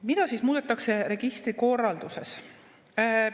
Mida siis muudetakse registrikorralduses?